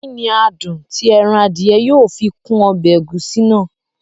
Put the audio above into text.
Kí ní adùn tí ẹran Adìẹ yóò fi kún ọbẹ̀ ẹ̀gúsí náà?